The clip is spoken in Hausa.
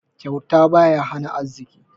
Kyauta baya hana arziki.